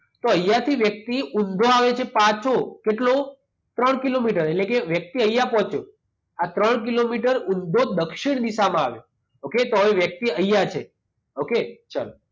તો અહિયાંથી વ્યક્તિ ઊંધો આવે છે પાછો. કેટલો? ત્રણ કિલોમીટર. એટલે કે વ્યક્તિ અહીંયા પહોંચ્યો. આ ત્રણ કિલોમીટર ઊંધો દક્ષિણ દિશામાં આવે. ઓકે? તો હવે વ્યક્તિ અહીંયા છે. ઓકે? ચાલો.